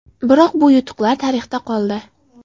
Biroq bu yutuqlar tarixda qoldi.